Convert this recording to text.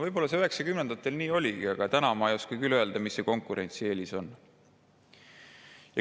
Võib-olla üheksakümnendatel see nii oligi, aga täna ma ei oska küll öelda, mis see konkurentsieelis on.